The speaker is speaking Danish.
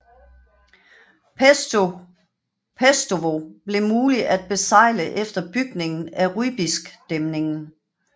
Pestovo blev mulig at besejle efter bygningen af Rybiskdæmningen